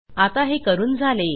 आता हे करून झाले